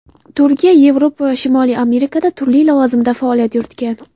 Turkiya, Yevropa va Shimoliy Amerikada turli lavozimda faoliyat yuritgan.